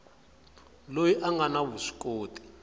loyi a nga na vuswikoti